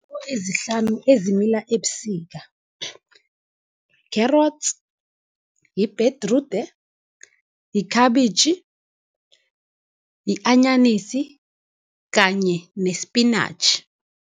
Ezihlanu ezimila ebusika, carrots, yibhedrude, yikhabitjhi, yi-anyanisi kanye nespinatjhi.